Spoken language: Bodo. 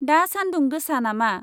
दा सान्दुं गोसा नामा?